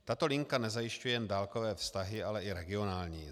Tato linka nezajišťuje jen dálkové vztahy, ale i regionální.